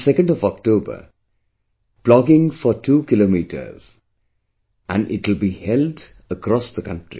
On the 2nd of October, plogging for two kilometers; and it will be held across the country